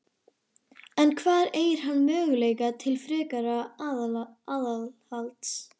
En hvar eygir hann möguleika til frekara aðhalds?